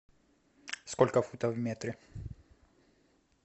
сколько футов в метре